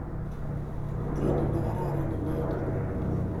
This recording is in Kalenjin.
Tyenin nekararan inendet.